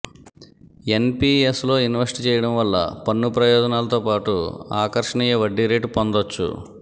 ఎన్పీఎస్లో invest చేయడం వల్ల పన్ను ప్రయోజనాలతోపాటు ఆకర్షణీయ వడ్డీ రేటు పొందొచ్చు